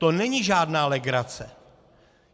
To není žádná legrace.